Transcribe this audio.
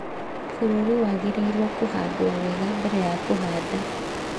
Bũrũri wagĩrĩirũo kũhandwo wega mbere ya kũhaanda.